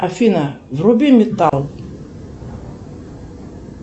афина вруби металл